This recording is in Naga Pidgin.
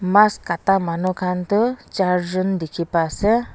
Mass kata manu khan tuh char jun dekhey pa ase.